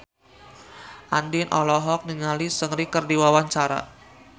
Andien olohok ningali Seungri keur diwawancara